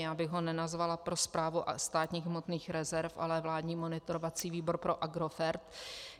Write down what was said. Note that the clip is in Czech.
Já bych ho nenazvala pro správu státních hmotných rezerv, ale vládní monitorovací výbor pro Agrofert.